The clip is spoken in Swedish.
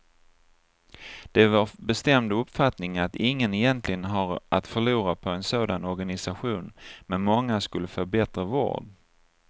Det är vår bestämda uppfattning att ingen egentligen har att förlora på en sådan organisation men många skulle få bättre vård.